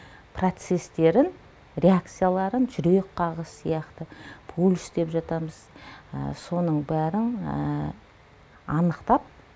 процестерін реакцияларын жүрек қағысы сияқты пульс деп жатамыз соның бәрін анықтап